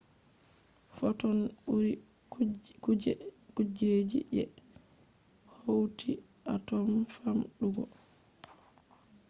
fotons ɓuri kuje ji je hauti atom famɗugo!